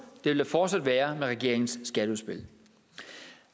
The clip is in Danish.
vil der fortsat være med regeringens skatteudspil